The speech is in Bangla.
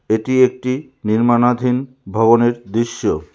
এটি একটি নির্মাণাধীন ভবনের দৃশ্য।